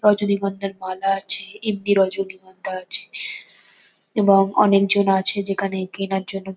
রজনীগন্ধার মালা আছে এমনি রজনীগন্ধা আছে এবং অনেকজন আছে যেখানে কেনার জন্য--